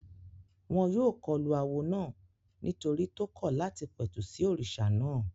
Wọ́n yóò kọlu awo náà nítorí tó kọ̀ láti pẹ̀tù sí òrìṣà náà